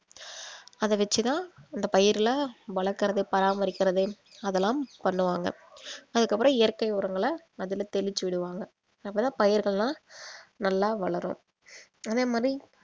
அத வெச்சி தான் அந்த பயிருல வளர்க்கிறது பராமரிக்கிறது அதெல்லாம் பண்ணுவாங்க அதுக்கப்புறம் இயற்கை உரங்கள அதுல தெளிச்சு விடுவாங்க அப்ப தான் பயிர்கள்லாம் நல்லா வளரும் அதே மாரி